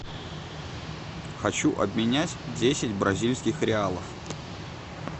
хочу обменять десять бразильских реалов